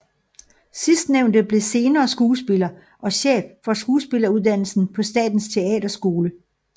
Sidstnævnte blev senere skuespiller og chef for skuespilleruddannelsen på Statens Teaterskole